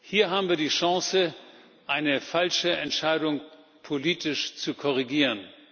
Hier haben wir die Chance, eine falsche Entscheidung politisch zu korrigieren.